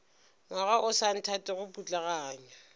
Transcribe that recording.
ngwaga o sa nthatego putlaganya